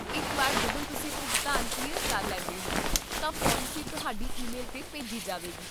ਇੱਕ ਵਾਰ ਜਦੋਂ ਤੁਸੀਂ ਭੁਗਤਾਨ ਕਲੀਅਰ ਕਰ ਲੈਂਦੇ ਹੋ, ਤਾਂ ਪਾਲਿਸੀ ਤੁਹਾਡੀ ਈਮੇਲ 'ਤੇ ਭੇਜੀ ਜਾਵੇਗੀ